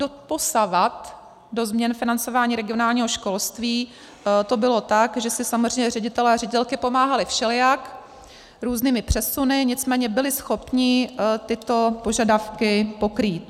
Doposud, do změn financování regionálního školství, to bylo tak, že si samozřejmě ředitelé a ředitelky pomáhali všelijak, různými přesuny, nicméně byli schopni tyto požadavky pokrýt.